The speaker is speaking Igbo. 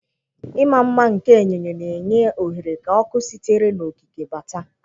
Ịma mma nke enyo enyo, na-enye ohere ka ọkụ sitere n'okike bata.